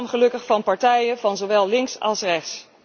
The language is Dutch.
Die steun kwam gelukkig van partijen van zowel links als rechts.